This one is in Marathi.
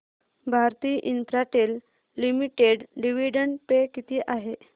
Bharti Infratel limited dividend pay किती आहे